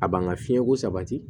A b'an ka fiɲɛko sabati